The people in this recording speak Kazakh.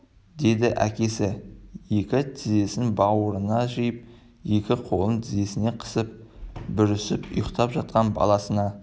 деді әкесі екі тізесін бауырына жиып екі қолын тізесіне қысып бүрісіп ұйықтап жатқан баласына